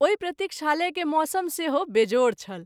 ओहि प्रतिक्षालय के मौसम सेहो बेजोड़ छल।